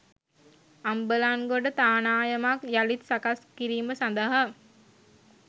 අම්බලන්ගොඩ තානායමක් යළිත් සකස් කිරීම සඳහා